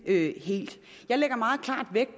vi